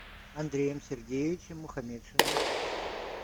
андреем сергеевичем мухаметшиным